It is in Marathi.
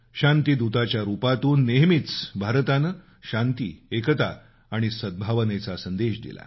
शांती दूताच्या रूपातून नेहमीच भारतानं शांती एकता आणि सद्भावनेचा संदेश दिला